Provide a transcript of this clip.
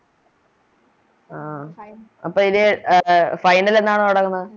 ആഹ് അപ്പൊ ഇത് അഹ് Final എന്നാണ് തൊടങ്ങുന്നത്